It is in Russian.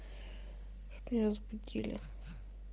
чтоб не разбудили